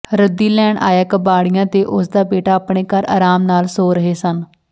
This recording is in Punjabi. ਰੱਦੀ ਲੈਣ ਆਇਆ ਕਬਾੜੀਆ ਤੇ ਉਸ ਦਾ ਬੇਟਾ ਆਪਣੇ ਘਰ ਆਰਾਮ ਨਾਲ ਸੌਂ ਰਹੇ ਸਨ